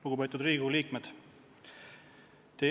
Lugupeetud Riigikogu liikmed!